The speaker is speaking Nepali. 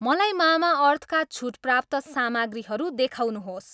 मलाई मामाअर्थ का छुट प्राप्त सामग्रीहरू देखाउनुहोस्